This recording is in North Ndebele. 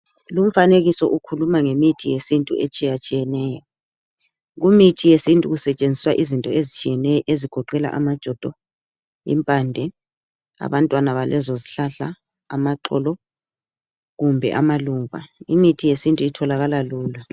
Lumfanekiso ukhuluma ngemithi yesintu etshiyatshiyeneyo imithi yesintu kusetshenziswa izinto ezitshiyeneyo ezigoqela amajodo, impande, abantwana balezo zihlahla amaxolo, kumbe amaluba imithi yesintu itholakala lula.